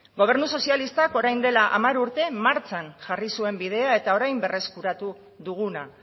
gobernu sozialistak orain dela hamar urte martxan jarri zuen bidea eta orain berreskuratu duguna